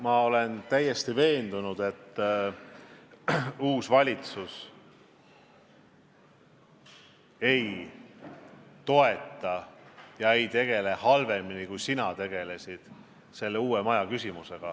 Ma olen täiesti veendunud, et uus valitsus ei tegele selle uue maja küsimusega halvemini, kui sina tegelesid.